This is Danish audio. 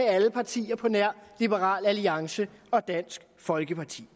alle partier på nær liberal alliance og dansk folkeparti